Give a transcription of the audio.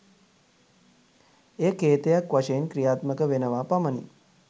එය කේතයක් වශයෙන් ක්‍රියාත්මක වෙනවා පමණි.